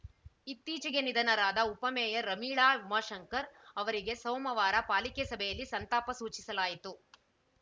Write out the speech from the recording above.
ಇತ್ತೀಚೆಗೆ ನಿಧನರಾದ ಉಪಮೇಯರ್‌ ರಮೀಳಾ ಉಮಾಶಂಕರ್‌ ಅವರಿಗೆ ಸೋಮವಾರ ಪಾಲಿಕೆ ಸಭೆಯಲ್ಲಿ ಸಂತಾಪ ಸೂಚಿಸಲಾಯಿತು